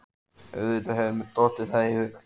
Auðvitað hefur mér dottið það í hug.